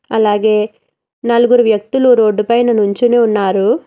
అలాగే నలుగురు వ్యక్తులు రోడ్డు పైన నుంచుని ఉన్నారు.